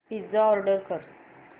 pizza order कर